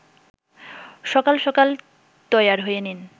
সকাল সকাল তৈয়ার হয়ে নিন